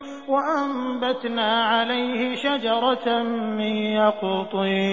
وَأَنبَتْنَا عَلَيْهِ شَجَرَةً مِّن يَقْطِينٍ